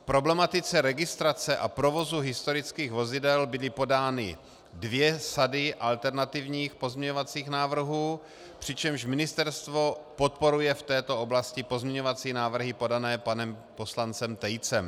K problematice registrace a provozu historických vozidel byly podány dvě sady alternativních pozměňovacích návrhů, přičemž ministerstvo podporuje v této oblasti pozměňovací návrhy podané panem poslancem Tejcem.